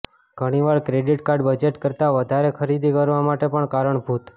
ઘણીવાર credit card budget કરતા વધારે ખરીદી કરવા માટે પણ કારણભૂત